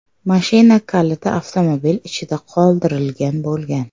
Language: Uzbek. Mashina kaliti avtomobil ichida qoldirilgan bo‘lgan.